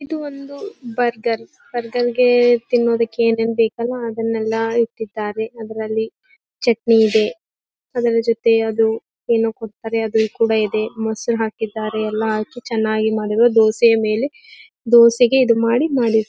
ಇದು ಒಂದು ಬರ್ಗರ್ ಅಂದಂಗೆ ತಿನ್ನೋದಕ್ಕೆ ಏನ್ ಏನ್ ಬೇಕಲ್ವಾ ಅದನೆಲ್ಲಾ ಇಟ್ಟಿದ್ದಾರೆ ಅದ್ರಲ್ಲಿ ಚಟ್ನಿ ಇದೆ ಅದರ ಜೊತೆ ಅದು ಏನೋ ಕೊಡತ್ತರೆ ಅದು ಕೂಡ ಇದೆ ಮೊಸರು ಹಾಕಿದ್ದಾರೆ ಎಲ್ಲಾ ಹಾಕಿ ಚನ್ನಾಗಿ ಮಾಡಿರೋ ದೋಸೆಯ ಮೇಲೆ ದೋಸೆಗೆ ಇದು ಮಾಡಿ .